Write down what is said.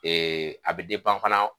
a be fana